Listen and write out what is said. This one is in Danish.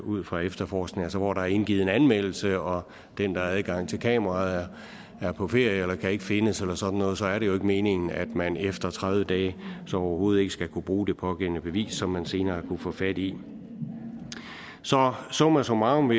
ud fra efterforskningen altså hvor der er indgivet en anmeldelse og den der har adgang til kameraet er på ferie eller kan ikke findes eller sådan noget så er det jo ikke meningen at man efter tredive dage så overhovedet ikke skal kunne bruge det pågældende bevis som man senere kunne få fat i så summa summarum